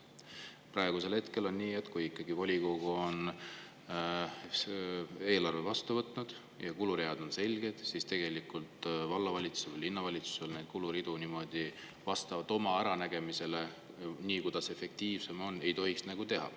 Praegu on aga nii, et kui volikogu ikkagi on eelarve vastu võtnud ja kuluread on selged, siis vallavalitsus või linnavalitsus neid kuluridu vastavalt oma äranägemisele – nii, nagu efektiivsem tundub – ei tohiks teha.